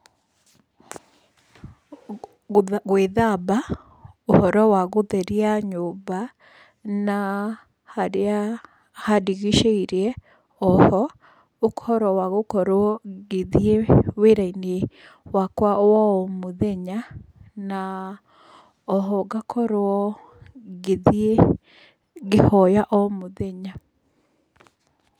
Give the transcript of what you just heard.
Gwĩthamba, ũhoro wa gũtheria nyũmba na harĩa handigicĩirie. Oho, ũhoro wa gũkorwo ngĩthiĩ wĩra-inĩ wakwa wa o mũthenya, na oho ngakorwo ngĩthiĩ, ngĩhoya omũthenya.